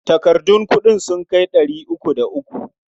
Takardun kuɗin sun kai ɗari uku da uku.